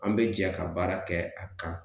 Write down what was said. An bɛ jɛ ka baara kɛ a kan